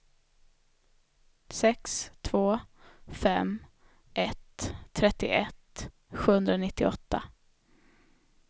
sex två fem ett trettioett sjuhundranittioåtta